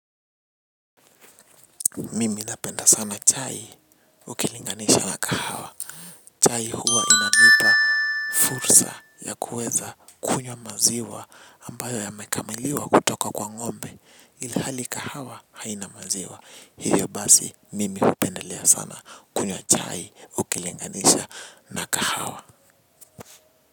Mimi napenda sana chai ukilinganisha na kahawa. Chai huwa inanipa fursa ya kuweza kunywa maziwa ambayo yamekamuliwa kutoka kwa ng'ombe. Ilhali kahawa haina maziwa. Hivyo basi, mimi hupendelea sana kunywa chai ukilinganisha na kahawa.